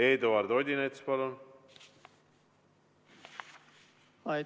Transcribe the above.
Eduard Odinets, palun!